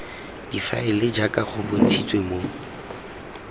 difaele jaaka go bontshitswe mo